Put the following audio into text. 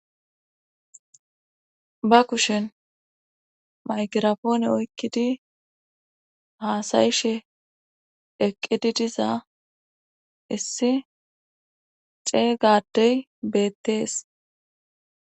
ba kushen migrafone oykkidi haasa7ishe eqqidi diza issi ceega addey beettes.